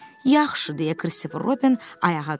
Yaxşı, deyə Krisif Roben ayağa qalxdı.